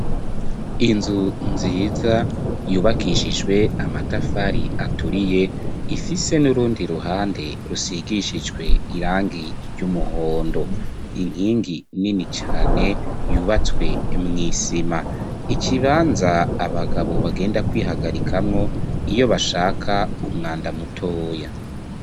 Inzu nziza, yubakishijwe amatafari, aturiye, ifise, n'urundi ruhande, rusigishijwe irangi, ry'umuhondo; inkingi nini cane, yubatswe mw'isima; ikibanza, abagabo, bagenda kwihagarikamwo, iyo bashaka, umwanda mutoya.